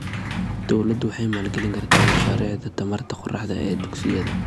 Dawladdu waxay maalgelin kartaa mashaariicda tamarta qorraxda ee dugsiyada.